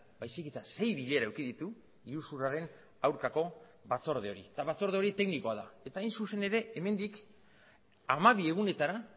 baizik eta sei bilera eduki ditu iruzurraren aurkako batzorde hori eta batzorde hori teknikoa da eta hain zuzen ere hemendik hamabi egunetara